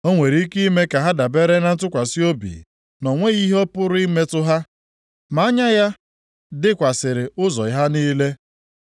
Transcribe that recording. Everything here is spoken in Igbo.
Ọ nwere ike ime ka ha dabere na ntụkwasị obi na o nweghị ihe pụrụ ịmetụ ha, ma anya ya dịkwasịrị ụzọ ha niile.